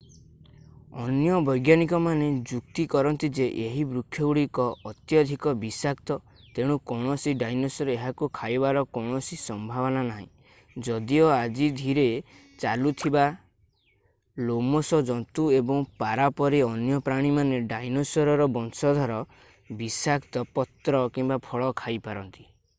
ଅନ୍ୟ ବୈଜ୍ଞାନିକମାନେ ଯୁକ୍ତି କରନ୍ତି ଯେ ଏହି ବୃକ୍ଷଗୁଡିକ ଅତ୍ୟଧିକ ବିଷାକ୍ତ ତେଣୁ କୌଣସି ଡାଇନୋସର ଏହାକୁ ଖାଇବାର କୌଣସି ସମ୍ଭାବନା ନାହିଁ ଯଦିଓ ଆଜି ଧୀରେ ଚାଲୁଥିବା ଲୋମଶ ଜନ୍ତୁ ଏବଂ ପାରା ପରି ଅନ୍ୟ ପ୍ରାଣୀମାନେ ଡାଇନୋସରର ବଂଶଧର ବିଷାକ୍ତ ପତ୍ର କିମ୍ବା ଫଳ ଖାଇପାରନ୍ତି।